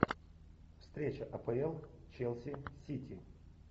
встреча апл челси сити